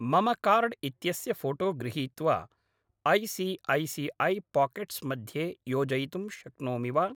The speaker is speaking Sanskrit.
मम कार्ड् इत्यस्य फोटो गृहीत्वा ऐ.सी.ऐ.सी.ऐ. पाकेट्स् मध्ये योजयितुं शक्नोमि वा?